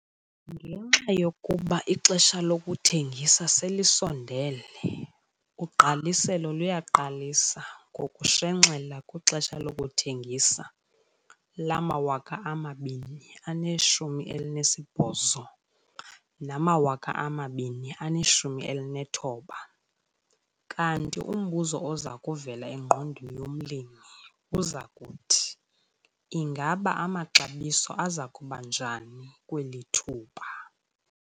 Ngenxa yokuba ixesha lokuthengisa selisondele, ugqaliselo luyaqalisa ngokushenxela kwixesha lokuthengisa lama-2018 nama-2019 kanti umbuzo oza kuvela engqondweni yomlimi uza kuthi 'Ingaba amaxabiso aza kuba njani kweli thuba?'